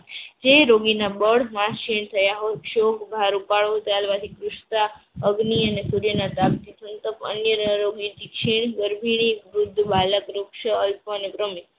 જે રોગીના બળમાસેન થયા હોય અગ્નિ અને સૂર્યના તાપથી અન્યના રોગી